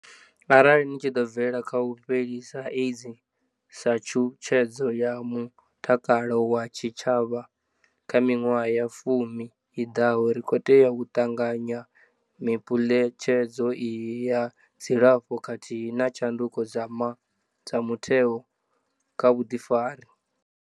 Arali ri tshi ḓo bvelela kha u fhelisa AIDS sa tshutshedzo ya mutakalo wa tshitshavha kha miṅwaha ya fumi i ḓaho, ri khou tea u ṱanganya miphuletshedzo iyi ya dzilafho khathihi na tshanduko dza mutheo kha vhuḓifari.